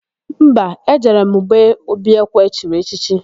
Mba, e jere m gbe Obiekwe chiri echichi.